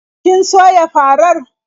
Kin soya farar?